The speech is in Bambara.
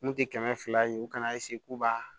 N kun tɛ kɛmɛ fila ye u kana k'u b'a